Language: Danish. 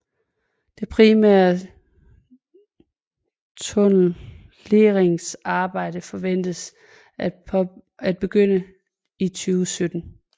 Det primære tunnelleringsarbejde forventes at begynde i 2017